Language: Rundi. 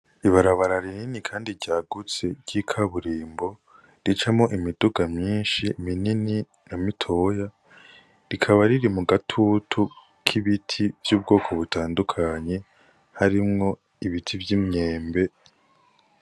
Ibarabara rinini kandi ryagutse ry'ikaburimbo, ricamwo imiduga myinshi minini na mitoya. Rikaba riri mu gatutu k'ibiti vy'ubwoko butandukanye harimwo ibiti vy'imyembe.